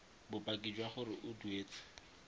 bopaki jwa gore o duetse